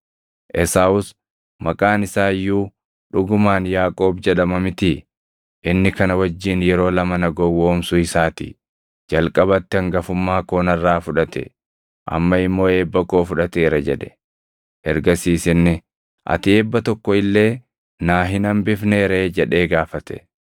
Esaawus, “Maqaan isaa iyyuu dhugumaan Yaaqoob jedhama mitii? Inni kana wajjin yeroo lama na gowwoomsuu isaa ti; jalqabatti hangafummaa koo narraa fudhate; amma immoo eebba koo fudhateera” jedhe. Ergasiis inni, “Ati eebba tokko illee naa hin hambifnee ree?” jedhee gaafate.